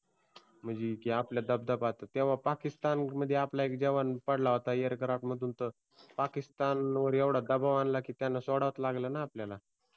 म्हणजे आपलला दबदबा होता तेव्हा पाकिस्तान मध्ये आपला एक जवान पडला होता AIRCRAFT मधून तर पाकिस्तानवर एवढा दबाव आणला की त्यांना सोडावच लागल ना आपल्याला